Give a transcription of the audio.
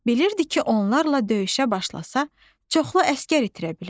Bilirdi ki, onlarla döyüşə başlasa, çoxlu əsgər itirə bilər.